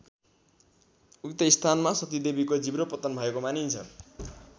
उक्त स्थानमा सतीदेवीको जिब्रो पतन भएको मानिन्छ।